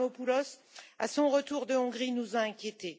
Avramopoulos à son retour de Hongrie, nous a inquiétés.